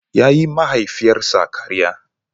Ya yiwa mahaifiyarsa karya.